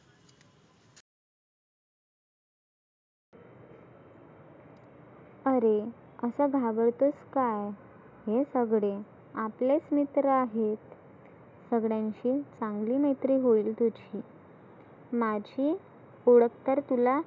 आरे आसा घाबरतोस काय? हे सगळे आपलेच मित्र आहेत. सगळ्यांशी चांगली मैत्री होईल तुझी. माझी ओळख तर तुला